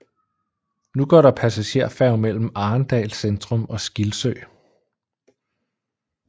Nu går der passagerfærge mellem Arendal centrum og Skilsø